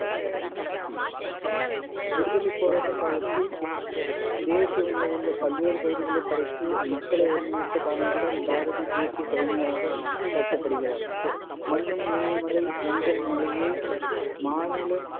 விடுதலைப் போராட்டக் காலத்தில் தேசிய உணர்வுள்ள பல்வேறு கவிதைகளைப் படைத்து மக்களை ஒருங்கிணைத்த காரணத்தால் பாரதி தேசியக் கவிஞராகப் போற்றப்படுகிறார் மண்ணும் இமயமலை எங்கள் மலையே மாநிலம்